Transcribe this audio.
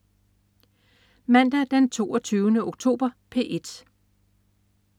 Mandag den 22. oktober - P1: